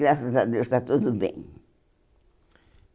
Graças a Deus, está tudo bem.